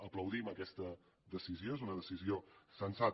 aplaudim aquesta decisió és una decisió sensata